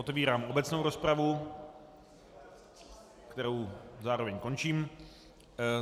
Otevírám obecnou rozpravu, kterou zároveň končím.